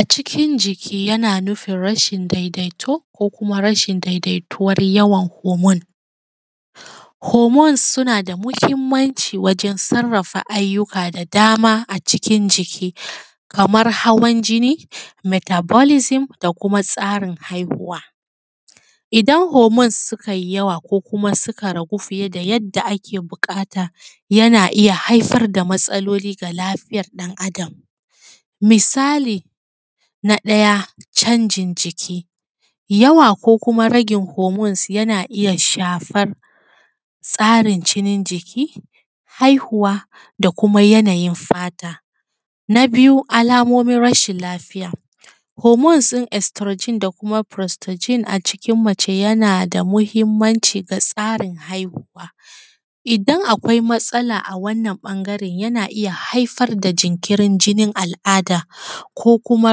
A cikin jiki yana nufin rashin daidaito ko kuma rashin daidaituwan homon. Homons suna da mahinmanci sosai wurin sarrafa abubuwa da dama a cikin jiki, kaman hawan jinni, metabolisim da kuma tsarin haihuwa. Idan homons suka yi yawa ko kuma suka ragu fiye da yanda ake buƙata yana iya haifar da matsaloli ga lafiyan ɗan’Adam misali na ɗaya canjin jiki yawa ko kuma ragin homons yana iya shafan tsarin jinin jiki, haihuwa da kuma yanayin fata. Na biyu, alamomin rashin lafiya homons ɗin furostajin da kuma homons ɗin furustajin a jikin mace yana da mahimmanci a tsarin haihuwa, idan akwai matsala a wannan ɓangare yana iya haifar da jinkirin jinin al’ada ko kuma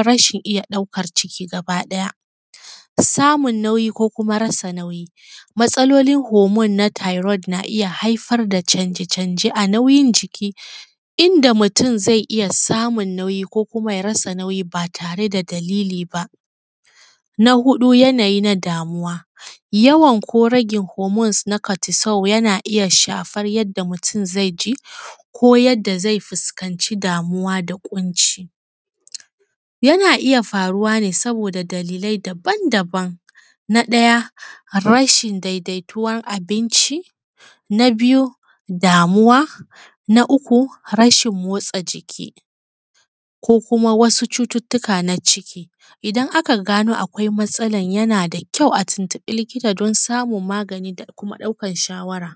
rashin iya ɗaukan ciki gaba ɗaya, samun nauyi ko kuma rasa nauyi. Matsalolin homon na tairon na iya haifar da canje-canje a nauyin jiki inda mutun zai iya samun ko kuma ya rage nauyi ba tare da dalili ba. Na huɗu yanayi na damuwa, yawan ko ragen homons na katisau yana iya shafan yanda mutun zai ci ko yanda zai fuskanci damuwa da ƙunci, yana iya faruwa ne saboda dalilai daban-daban na ɗya rashin daidaituwan abinci, na biyu damuwa, na uku rashin motsa jiki ko kuma cututtuka na jiki. Idan aka gano akwai matsalan yana da kyau a tuntuɓi likita don samun magani da kuma ɗaukan shawara.